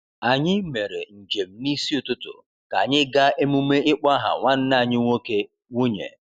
Anyị mere njem n’isi ụtụtụ ka anyị gaa emume ịkpọ aha nwanne anyị nwoke/nwunye.